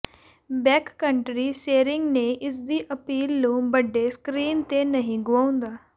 backcountry ਸੈਰਿੰਗ ਨੇ ਇਸਦੀ ਅਪੀਲ ਨੂੰ ਵੱਡੇ ਸਕ੍ਰੀਨ ਤੇ ਨਹੀਂ ਗੁਆਉਂਦਾ